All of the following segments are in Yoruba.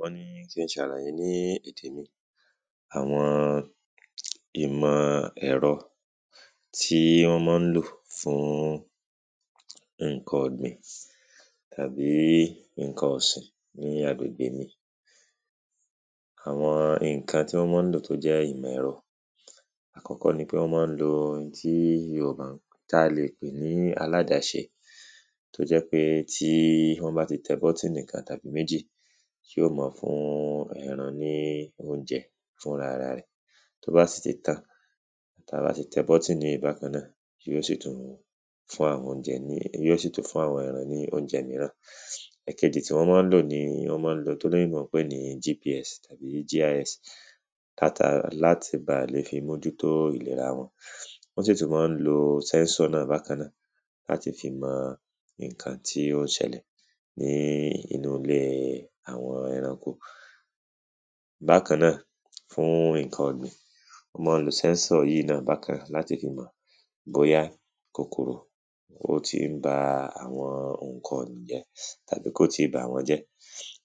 wọ́n ní kin ṣàlàyé ní èdè mi àwọn ìmọ ẹ̀rọ, tí wọ́n mọ́ lò fún ǹkan ọ̀gbìn tàbí ǹkan ọ̀sìn ní agbègbè mi. àwọn ǹkan tí wọ́n mọ́n lò tó jẹ́ ìmọ̀ ẹ̀rọ, àkọ́kọ́ ni pé wọ́n mọ ń lo ohun tí yoòbá, ta lè pè ní aládáṣe. tó jẹ́ pé tí wọ́n bá ti tẹ bọ́tìnì kan tàbí méjì, yíò mọ fún ẹran ní óunjẹ fúnrara rẹ̀. tó bá sì ti tán, ta bá ti tẹ bọ́tìnì yìí bákan náà, yíó sì tún fún àwọn óunjẹ, yíó sì tún fún àwọn ẹran ní óunjẹ́ míràn. ẹ̀kejì tí wọ́n mọ́n lò ni wọ́n mọ ń lo ohun tólóyìnbó ńpé ní gps tabi gis láti báà lè fi mójútó ìlera wọn. wọ́n sì tún mọ ń lo sẹ́nsọ̀ náà bákan náà láti fi mọ ǹkan tí ó ń ṣẹlẹ̀ ní inú ilée àwọn ẹranko. bákan náà, fún ǹkan ọ̀gbìn, wọ́n mọ ń lo sẹ́nsọ̀ yíì í náà láti fi mọ̀ bóyá kòkòrò ó tí ń ba àwọn ǹkan ọ̀gbìn jẹ́ tàbí kò tíì bàwọ́njẹ́.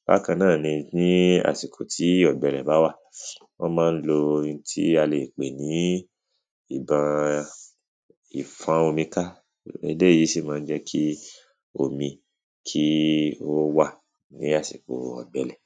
bákàn náà ni ní àsìkò tí ọ̀gbẹlẹ̀ bá wà, wọ́n mọ ń lo ohun tí a lè pè ní ǹkan ìfọ́n omi ká. eléyìí sì mọ ń jẹ́ kí omi kí ó wà ní àsìko ọ̀gbẹlẹ̀.